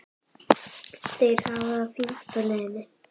Þær hafa það fínt á leiðinni.